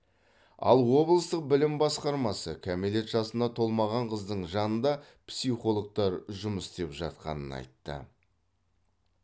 ал облыстық білім басқармасы кәмелет жасына толмаған қыздың жанында психологтар жұмыс істеп жатқанын айтты